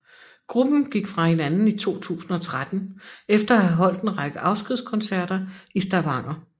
Gruppen gik fra hinanden i 2013 efter at have holdt en række afskedskoncerter i Stavanger